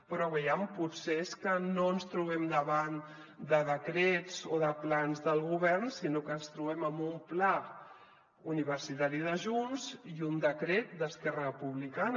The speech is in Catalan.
però aviam potser és que no ens trobem davant de decrets o de plans del govern sinó que ens trobem amb un pla universitari de junts i un decret d’esquerra republicana